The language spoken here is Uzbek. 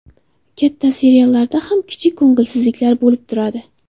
Katta seriallarda ham kichik ko‘ngilsizliklar bo‘lib turadi.